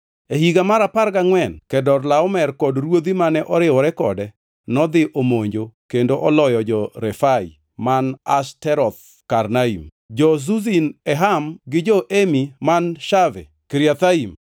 E higa mar apar gangʼwen, Kedorlaomer kod ruodhi mane oriwore kode nodhi omonjo kendo oloyo jo-Refai man Ashteroth Karnaim, jo-Zuzim e Ham gi jo-Emi man Shave Kiriathaim,